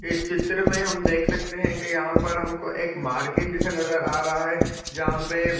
इस चित्र में हम देख सकते है की यहाँ पर हम को एक मार्केट जैसा नज़र आ रहा है जहाँ पे--